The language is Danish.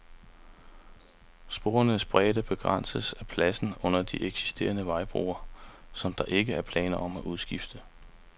Sporenes bredde begrænses af pladsen under de eksisterende vejbroer, som der ikke er planer om at udskifte.